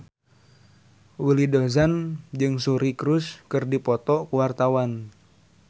Willy Dozan jeung Suri Cruise keur dipoto ku wartawan